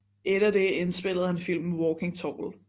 Etter det indspillede han filmen Walking Tall